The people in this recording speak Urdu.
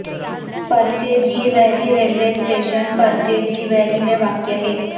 پرچے جی ویری ریلوے اسٹیشن پرچے جی ویری میں واقع ہے